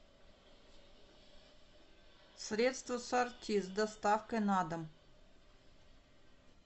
средство сорти с доставкой на дом